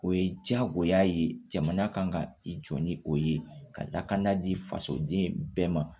O ye jagoya ye jamana kan ka i jɔ ni o ye ka dakanda di fasoden bɛɛ ma